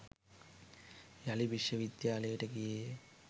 යළි විශ්වවිද්‍යාලයට ගියේය.